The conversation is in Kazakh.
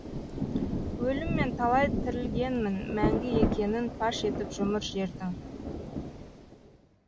өлім мен талай тірілгенмін мәңгі екенін паш етіп жұмыр жердің